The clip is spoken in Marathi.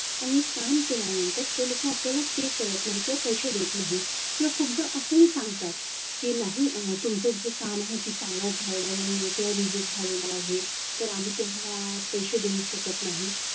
आणि काम केल्यानंतर ते लोक आपल्याला pay करत नाही किंवा पैसे देत नाही किंवा खूपदा असंही सांगतात की नाही तुमचं जे काम आहे ते चांगलं झालेलं नाही किंवा reject झालेल आहे तर आम्ही तुम्हाला पैसे देऊ शकत नाही.